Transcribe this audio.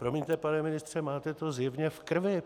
Promiňte, pane ministře, máte to zjevně v krvi.